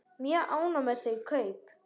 Mjög ánægð með þau kaup.